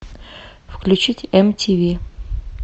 включить мтв